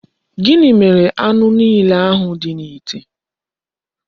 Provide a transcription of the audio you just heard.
Gini mere anu niile ahu di n'ite?